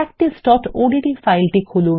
practiceওডিটি ফাইলটি খুলুন